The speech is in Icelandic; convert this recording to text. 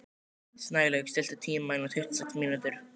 Snælaug, stilltu tímamælinn á tuttugu og sex mínútur.